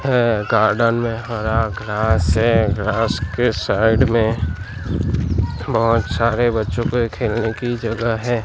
अ garden में हरा घास है घास के साइड में बहोत सारे बच्चों के खेलने की जगह है।